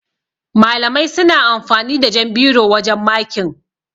Malamai suna amfani da jan biro wajan makin.